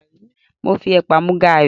Mo fi ẹ̀pà mu gàrí.